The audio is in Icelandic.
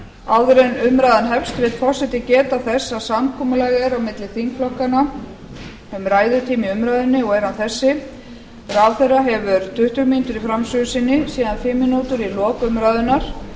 áður en umræðan hefst vill forseti geta þess að samkomulag er á milli þingflokkanna umræðutíma í umræðunni og er hann þessi ráðherra hefur tuttugu mínútur í framsögu sinni síðan fimm mínútur í lok umræðunnar